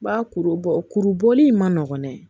Ba kuru bɔ kuru bɔli in ma nɔgɔn dɛ